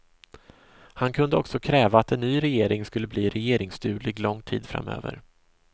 Han kunde också kräva att en ny regering skulle bli regeringsduglig lång tid framöver.